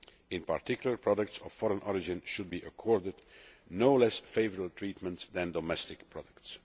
In particular, products of foreign origin should be accorded no less favourable treatment than domestic products.